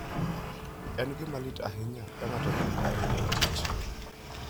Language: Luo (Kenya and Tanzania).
En gima lit ahinya ka ng'ato otho ka en e tich.